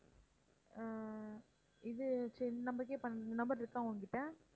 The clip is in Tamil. ஆஹ் இது சரி இந்த number க்கே பண்ணுங்க இந்த number இருக்கா உங்ககிட்ட?